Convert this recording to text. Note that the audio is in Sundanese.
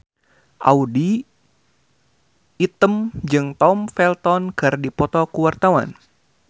Audy Item jeung Tom Felton keur dipoto ku wartawan